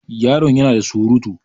Yaron ya na da surutu.